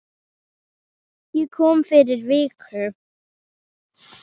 Ég kom fyrir viku